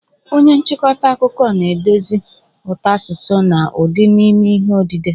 Onye nchịkọta akụkọ na-edozi ụtọ asụsụ na ụdị n'ime ihe odide.